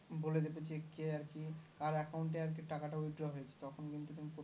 বলে দিবে জি কে আরকি কার account এ আরকি টাকাটা Withdraw হয়েছে তখন কিন্তু তুমি পুরো